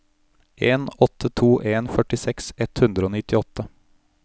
en åtte to en førtiseks ett hundre og nittiåtte